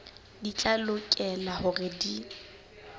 di tla lokela hore di